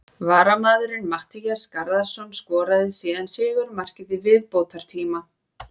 Varamaðurinn Matthías Garðarsson skoraði síðan sigurmarkið í viðbótartíma.